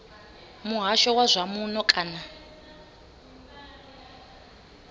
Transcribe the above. muhasho wa zwa muno kana